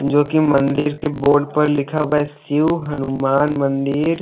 जो कि मंदिर के बोर्ड पर लिखा हुआ है शिव हनुमान मंदिर।